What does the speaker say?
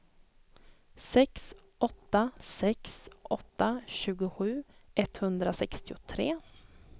sex åtta sex åtta tjugosju etthundrasextiotre